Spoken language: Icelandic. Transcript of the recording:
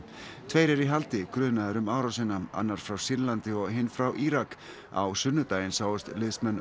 tveir eru í haldi grunaðir um árásina annar frá Sýrlandi og hinn frá Írak á sunnudaginn sáust liðsmenn